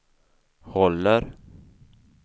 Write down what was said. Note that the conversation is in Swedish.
håller